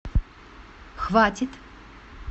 хватит